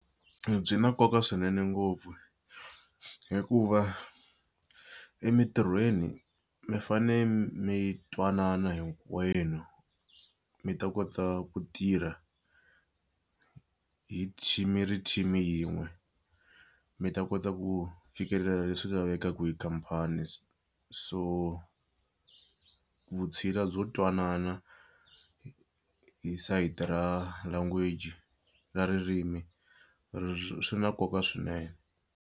Byi na nkoka swinene ngopfu hikuva emitirhweni mi fanele mi twanana hinkwenu mi ta kota ku tirha hi team mi ri team yin'we mi ta kota ku fikelela leswi lavekaka hi khampani so so vutshila byo twanana hi sayiti ra language ra ririmi swi na nkoka swinene.